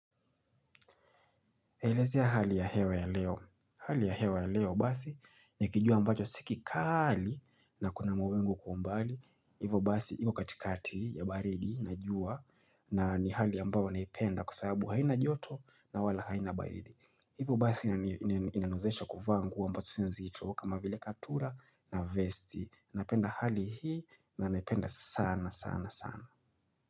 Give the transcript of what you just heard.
Eleza ya hali ya hewa ya leo. Hali ya hewa ya leo basi ni kijua ambacho si kikali na kuna mawingu kwa mbali. Hivyo basi iko katikati ya baridi na jua na ni hali ambayo naipenda kwa sababu haina joto na wala haina baridi. Hivyo basi inaniwezesha kuvaa nguo ambazo sio nzito kama vile kaptula na vesti. Napenda hali hii na naipenda sana sana sana.